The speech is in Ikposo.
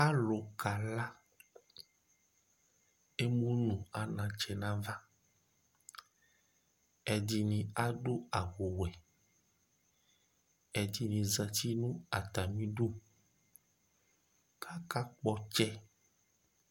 Alu kala Emu nʋ anatsɛ nʋ ava Ɛdɩnɩ adu awuwɛ, ɛdɩnɩ zǝtɩ nʋ atami idu, kʋ aka kpɔ ɔtsɛ